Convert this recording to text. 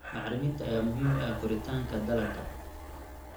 Bacriminta ayaa muhiim u ah koritaanka dalagga.